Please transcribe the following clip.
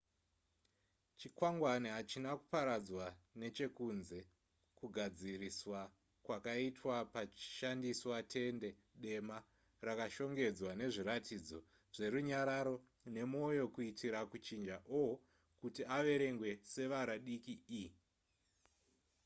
chikwangwani hachina kuparadzwa nechekunze kugadziriswa kwakaitwa pachishandiswa tende dema rakashongedzwa nezviratidzo zverunyararo nemoyo kuitira kuchinja o kuti averengwe sevara diki e